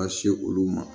Ka se olu ma